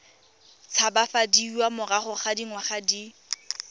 tshabafadiwa morago ga dingwaga di